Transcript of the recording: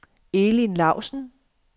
Elin Lausen